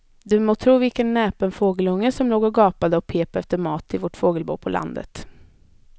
Du må tro vilken näpen fågelunge som låg och gapade och pep efter mat i vårt fågelbo på landet.